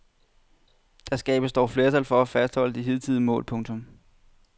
Der skabtes dog flertal for at fastholde de hidtidige mål. punktum